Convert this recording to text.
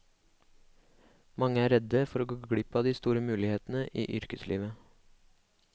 Mange er redde for å glipp av de store mulighetene i yrkeslivet.